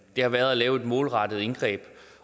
har været at lave et målrettet indgreb